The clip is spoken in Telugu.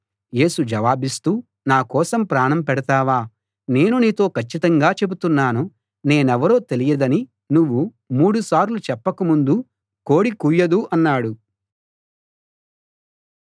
యేసు జవాబిస్తూ నా కోసం ప్రాణం పెడతావా నేను నీతో కచ్చితంగా చెబుతున్నాను నేనెవరో తెలియదని నువ్వు మూడు సార్లు చెప్పక ముందు కోడి కూయదు అన్నాడు